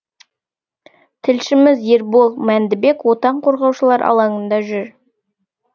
тілшіміз ербол мәндібек отан қорғаушылар алаңында жүр